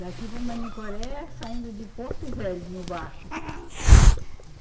Daqui para Manicoré, saindo de Porto Velho, no barco.